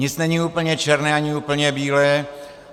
Nic není úplně černé ani úplně bílé.